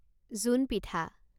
জোন পিঠা